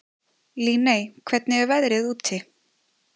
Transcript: Líney, hvernig er veðrið úti?